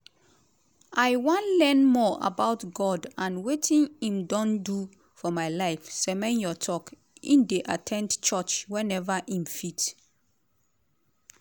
"i wan learn more about god and wetin im don do for my life" semenyo tok im dey at ten d church whenever im fit.